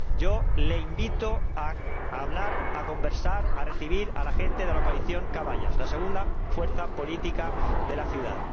Yo le invito a hablar, a conversar, a recibir a la gente de la Coalición Caballas, la segunda fuerza política de la ciudad.